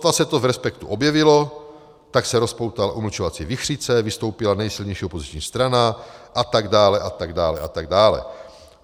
Sotva se to v Respektu objevilo, tak se rozpoutala umlčovací vichřice, vystoupila nejsilnější opoziční strana, a tak dále a tak dále a tak dále.